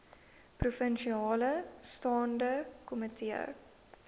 provinsiale staande komitee